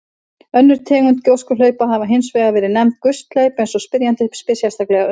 Önnur tegund gjóskuhlaupa hafa hins vegar verið nefnd gusthlaup eins og spyrjandi spyr sérstaklega um.